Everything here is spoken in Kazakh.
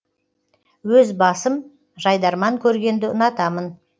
өз басым жайдарман көргенді ұнатамын